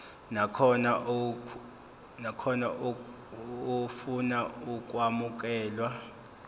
nakhona ofuna ukwamukelwa